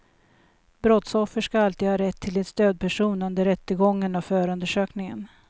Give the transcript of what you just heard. Brottsoffer ska alltid ha rätt till en stödperson under rättegången och förundersökningen.